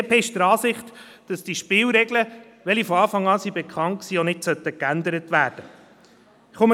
Die BDP ist der Ansicht, dass diese Spielregeln, welche von Anfang an bekannt waren, auch nicht geändert werden sollten.